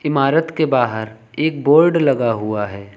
इमारत के बाहर एक बोर्ड लगा हुआ है।